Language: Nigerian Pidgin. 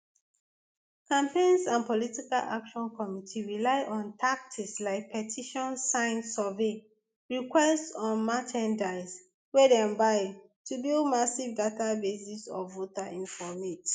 campaigns and political action committees rely on tactics like petition sign survey requests or merchandise wey dem buy to to build massive databases of voter informate